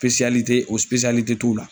sipesiyalite o sipesiyalite t'u la